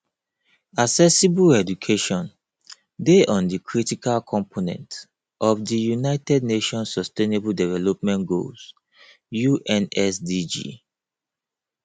accessible education dey on di critical component of di united nations sustainable development goals unsdg